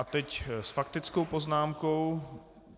A teď s faktickou poznámkou.